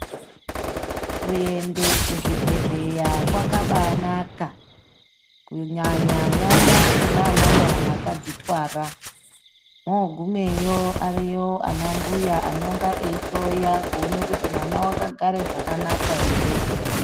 Kuenda kuzvibhehleya kwabainaka kunyanya nyanya kunana mai akazvitwara ogumeyo ariyo ana mbuya anonge eihloya kuti mwana akagare zvakanaka ere.